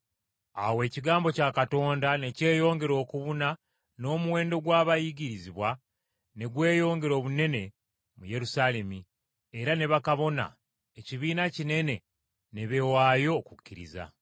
Awo ekigambo kya Katonda ne kyeyongera okubuna n’omuwendo gw’abayigirizwa ne gweyongera obunene mu Yerusaalemi; era ne bakabona, ekibiina kinene, ne beewaayo okukkiriza.